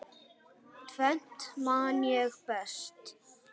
Tvennt man ég best.